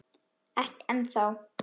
Ekki ennþá.